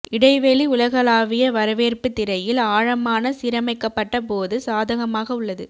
இடைவெளி உலகளாவிய வரவேற்பு திரையில் ஆழமான சீரமைக்கப்பட்ட போது சாதகமாக உள்ளது